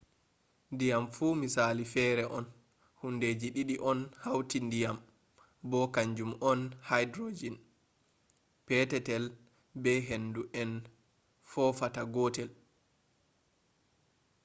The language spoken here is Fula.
diyam fu misali fere on. hundeji didi on hauti ndiyam bo kanjum on hydrohen petetel be hendu en fofatata godel